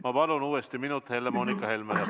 Ma palun uuesti üks minut Helle-Moonika Helmele!